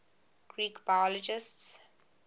greek biologists